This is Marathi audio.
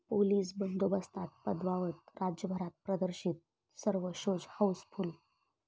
पोलीस बंदोबस्तात पद्मावत राज्यभरात प्रदर्शित, सर्व शोज हाऊसफुल्ल